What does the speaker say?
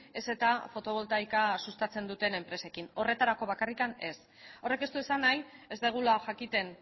ez ezta fotoboltaika sustatzen duten enpresekin horretarako bakarrik ez horrek ez du esan nahi ez dugula jakiten